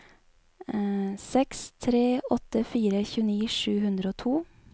seks tre åtte fire tjueni sju hundre og to